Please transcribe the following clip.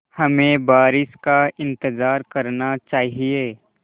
हमें बारिश का इंतज़ार करना चाहिए